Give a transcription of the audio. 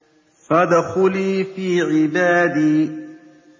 فَادْخُلِي فِي عِبَادِي